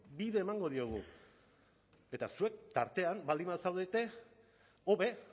bide emango diogu eta zuek tartean baldin bazaudete hobe